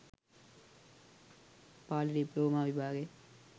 Pali diploma විභාගය,